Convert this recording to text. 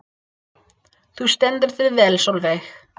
Þú stendur þig vel, Solveig!